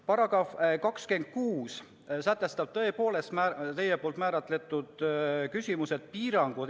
Paragrahv 26 "Piirangud Eesti kodakondsusest vabastamisel" sätestab tõepoolest teie poolt määratletud küsimused.